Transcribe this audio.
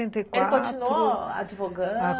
Sessenta e quatro. Ele continuou advogando?